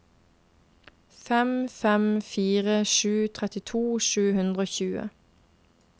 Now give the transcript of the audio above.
fem fem fire sju trettito sju hundre og tjue